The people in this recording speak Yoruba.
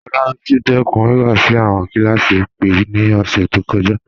Olabisi dẹkun wíwá sí awọn kílásí ìpè ni ọṣẹ to kọja.